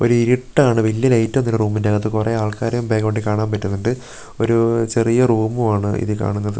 ഒരിരുട്ടാണ് വെല്യ ലൈറ്റ് ഒന്നുല്ല റൂമിന്റകത്ത് കൊറേ ആൾക്കാരേം ബാക്ക്ഗ്രൗണ്ടി കാണാൻ പറ്റുന്നൊണ്ട് ഒരു ചെറിയ റൂമും ആണ് ഇതി കാണുന്നത്.